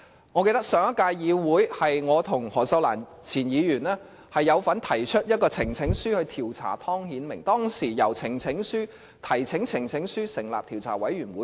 我記得在上屆議會，我和前議員何秀蘭有份提出呈請書調查湯顯明，當時應該是第一次提交呈請書以成立調查委員會。